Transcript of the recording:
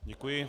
Děkuji.